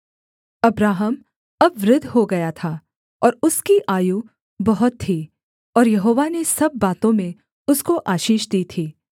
Abraham अब वृद्ध हो गया था और उसकी आयु बहुत थी और यहोवा ने सब बातों में उसको आशीष दी थी